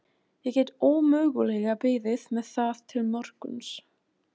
Ég get ómögulega beðið með það til morguns.